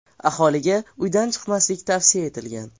Aholiga uydan chiqmaslik tavsiya etilgan.